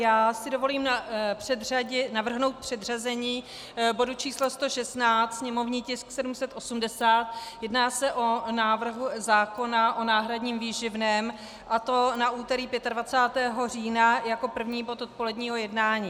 Já si dovolím navrhnout předřazení bodu číslo 116, sněmovní tisk 780, jedná se o návrh zákona o náhradním výživném, a to na úterý 25. října jako první bod odpoledního jednání.